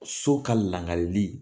So ka langaleli